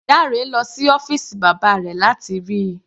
Dare lọ sí ọ́fìsì bàbá rẹ̀ láti rí i.